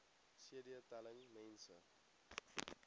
cd telling mense